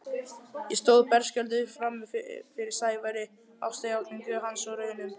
Ég stóð berskjölduð frammi fyrir Sævari, ástarjátningu hans og raunum.